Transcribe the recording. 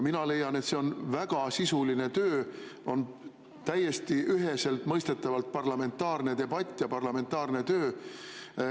Mina leian, et see on väga sisuline töö, see on täiesti üheselt mõistetavalt parlamentaarne debatt ja parlamentaarne töö.